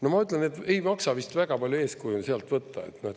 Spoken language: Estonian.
No ma ütlen, et ei maksa vist väga palju eeskuju on sealt võtta.